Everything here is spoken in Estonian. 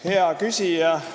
Hea küsija!